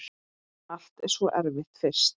Allt er svo erfitt fyrst.